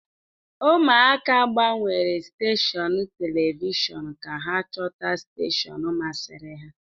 Ụmụaka gbanwere steshọn telivishọn ka ha chọta steshọn masịrị ha.